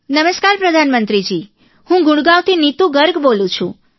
નમસ્કાર પ્રધાનમંત્રીજી હું ગુડગાંવથી નીતૂ ગર્ગ બોલું છું